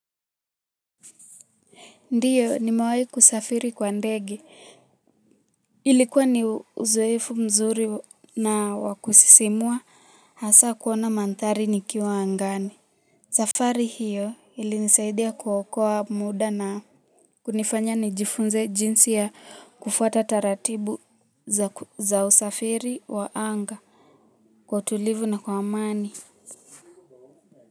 Ndiyo nimewai kusafiri kwa ndege ilikuwa ni uzoefu mzuri na wakusisimua hasa kuona mandhari nikiwa angani safari hiyo ilinisaidia kuokoa muda na kunifanya nijifunze jinsi ya kufuata taratibu za usafiri wa anga kwa tulivu na kwa amani.